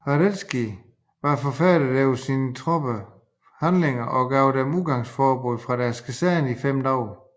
Radetzky var forfærdet over sine troppers handlinger og gav dem udgangsforbud fra deres kaserner i fem dage